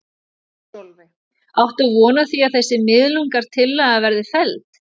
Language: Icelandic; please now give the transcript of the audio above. Sólveig: Áttu von á því að þessi miðlunartillaga verði felld?